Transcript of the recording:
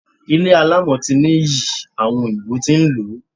Ilé alámọ̀ ti ní iyì, àwọn òyìnbó tí ń lò ó.